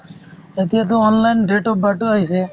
এতিয়াটো online date of birth ও আহিছে